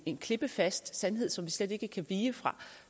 en klippefast sandhed som vi slet ikke kan vige fra